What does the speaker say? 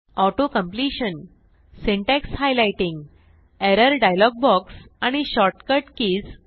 auto completion syntax highlighting error dialog box आणि shortcut keys